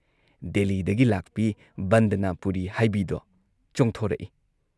ꯗꯦꯜꯂꯤꯗꯒꯤ ꯂꯥꯛꯄꯤ ꯕꯟꯗꯅ ꯄꯨꯔꯤ ꯍꯥꯏꯕꯤꯗꯣ ꯆꯣꯡꯊꯣꯔꯛꯏ ꯫